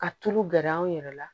Ka tulu gɛrɛ an yɛrɛ la